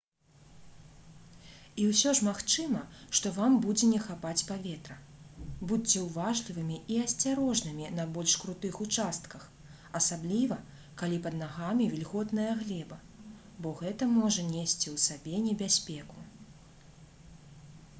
і ўсё ж магчыма што вам будзе не хапаць паветра будзьце ўважлівымі і асцярожнымі на больш крутых участках асабліва калі пад нагамі вільготная глеба бо гэта можа несці ў сабе небяспеку